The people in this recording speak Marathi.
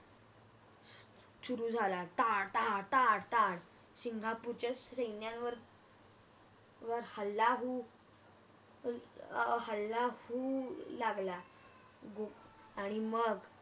सुरू झाला टाळ टाळ टाळ सिंगापूरच्या सैन्यावर हल्ला होऊ अर हल्ला होऊ लागला आणि मग